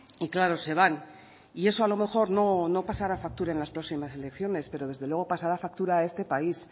y claro se van y eso a lo mejor no pasará factura en las próximas elecciones pero desde luego pasará factura a este país